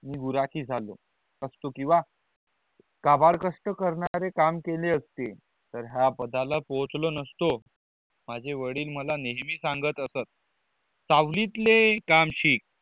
मी बुराकी झालो असतो कीवा काबाल कष्ट करणारे काम केले असतील तर ह्या पदा ला पहुचलों न असतो माझे वडील मला नेहमी सांगत असत कवरितले काम शिक